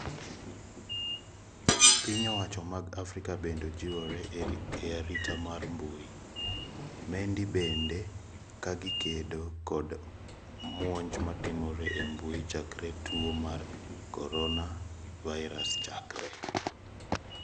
Piny owacho mag Afrika bende jiwore e arita mar mbui. Mendi bende kagikedo kod monj matimore e mbui chakre tuo mar Coonavirus chakre.